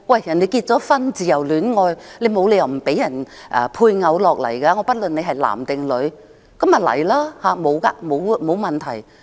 人家自由戀愛結婚，沒有理由不准其配偶來港，不論男或女，那便來港，沒有問題。